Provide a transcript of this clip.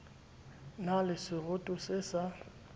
na le seroto se sa